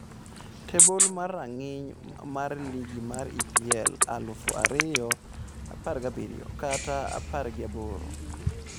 Tebol mar rang'iny mar ligi mar EPL aluf ariyo apargi abirio/apargi aboro